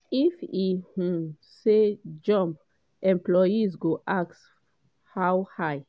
if e um say ‘jump’ employees go ask ‘how high’.”